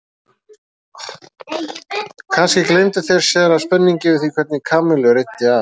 Kannski gleymdu þeir sér af spenningi yfir því hvernig Kamillu reiddi af?